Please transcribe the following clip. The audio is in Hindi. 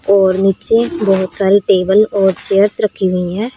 और नीचे बहोत सारे टेबल और चेयर्स रखी हुई है।